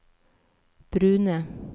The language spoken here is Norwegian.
brune